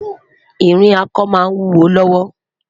ìrìn ako má n wúwo lówó